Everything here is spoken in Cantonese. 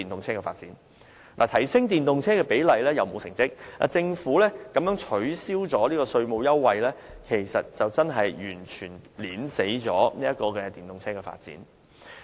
政府不僅在提升電動車的比率方面，沒有造出成績，更取消了稅務優惠，這完全扼殺了電動車的發展。